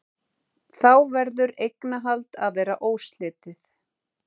Þá verður eignarhald að vera óslitið.